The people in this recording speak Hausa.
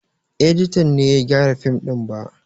Editan ne ya gyara fim ɗin ba